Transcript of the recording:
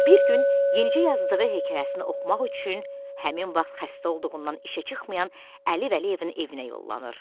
Bir gün yenicə yazdığı hekayəsini oxumaq üçün həmin vaxt xəstə olduğundan işə çıxmayan Əli Vəliyevin evinə yollanır.